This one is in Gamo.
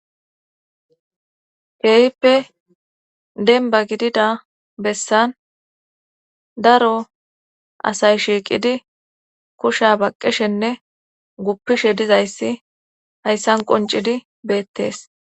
keehippe denba gidida bessan daro asay shiiqidi kusha baqqishenne guppishe dizayssi hayssan qoncidi beettees